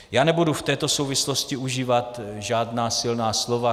Já nebudu v této souvislosti užívat žádná silná slova.